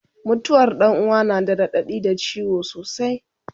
mutuwar Ɗan uwa na da raɗaɗi da ciwo sosai